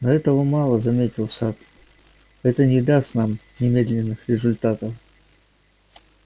но этого мало заметил сатт это не даст нам немедленных результатов